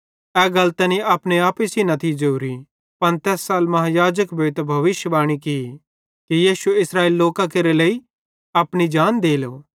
ए गल तैनी अपने आपे सेइं न थी ज़ोरी पन तैस साल महायाजक भोइतां भविष्‍यद्वाणी कि यीशु इस्रएलेरे सारे लोकां केरे लेइ अपनी जान देलो